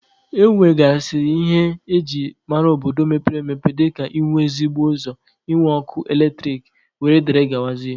E nwegasịrị ihe eji mara obodo mepere emepe dịka ị nwe ezigbo ụzọ, ị nwe ọkụ eletrik wdg.